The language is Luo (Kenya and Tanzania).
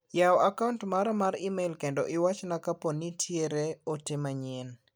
Yaw a kaunt mara mar imel kendo iwachna kaponi nitiere ote manyien.